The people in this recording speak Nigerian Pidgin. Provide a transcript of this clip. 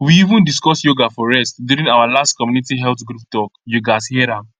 we even discuss yoga for rest during our last community health group talk you gatz hear am